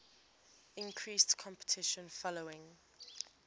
increased competition following